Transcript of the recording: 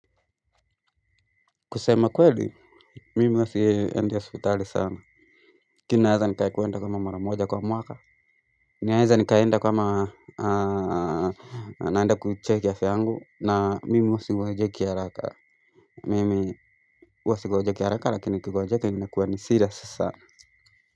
Kusema kweli mimi huwa siendi hospitali sana lakini ninaweza nikakwenda kama mara moja kwa mwaka ninaeza nikaenda kama naenda kucheck afya yangu na mimi huwa sigonjeki haraka mimi huwa sigonjeki haraka lakini nikigonjeka inakuwa ni serious sana.